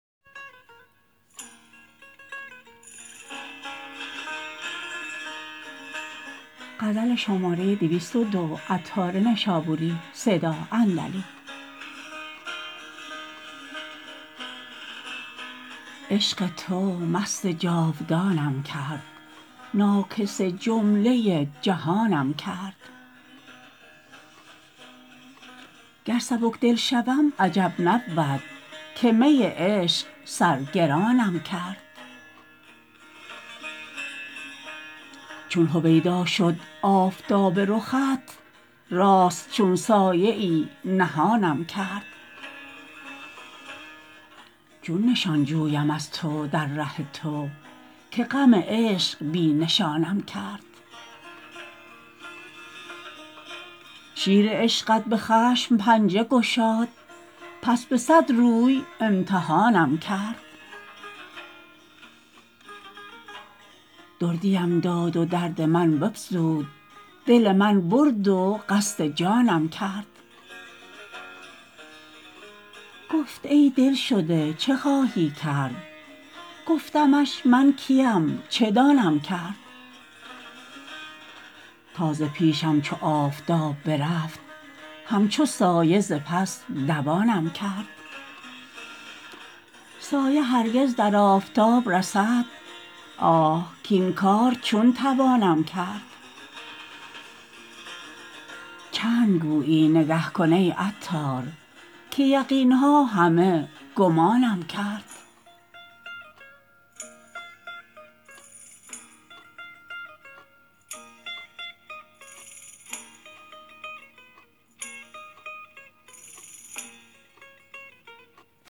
عشق تو مست جاودانم کرد ناکس جمله جهانم کرد گر سبک دل شوم عجب نبود که می عشق سر گرانم کرد چون هویدا شد آفتاب رخت راست چون سایه ای نهانم کرد چون نشان جویم از تو در ره تو که غم عشق بی نشانم کرد شیر عشقت به خشم پنجه گشاد پس به صد روی امتحانم کرد دردیم داد و درد من بفزود دل من برد و قصد جانم کرد گفت ای دلشده چه خواهی کرد گفتمش من کیم چه دانم کرد تا ز پیشم چو آفتاب برفت همچو سایه ز پس دوانم کرد سایه هرگز در آفتاب رسد آه کین کار چون توانم کرد چند گویی نگه کن ای عطار که یقین ها همه گمانم کرد